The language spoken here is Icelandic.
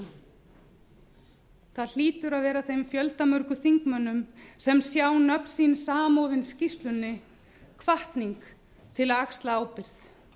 þjóðina það hlýtur að vera þeim fjöldamörgum þingmönnum sem sjá nöfn sín samofin skýrslunni hvatning til að axla ábyrgð